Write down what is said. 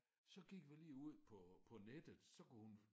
Så gik vi lige ud på på nettet så kunne hun